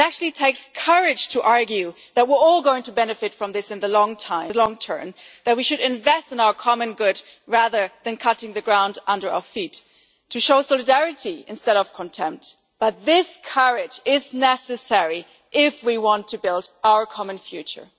It actually takes courage to argue that we are all going to benefit from this in the long term, that we should invest in our common good rather than cutting the ground from under our feet, to show solidarity instead of contempt. But this courage is necessary if we want to build our common future.